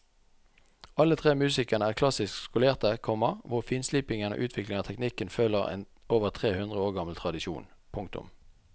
Alle tre musikerne er klassisk skolerte, komma hvor finslipingen og utviklingen av teknikken følger en over tre hundre år gammel tradisjon. punktum